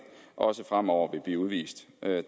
også fremover vil blive udvist det er